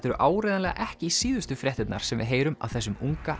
eru áreiðanlega ekki síðustu fréttirnar sem við heyrum af þessum unga